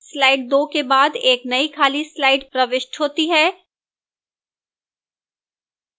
slide 2 के बाद एक नई खाली slide प्रविष्ट होती है